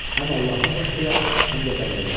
Həm Allaha xoş gedər, həm də bəndəyə.